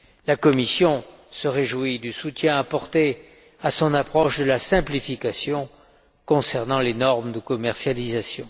La Commission se réjouit du soutien apporté à son approche de la simplification concernant les normes de commercialisation.